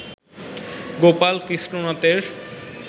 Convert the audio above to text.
Gopal Krishna নাথের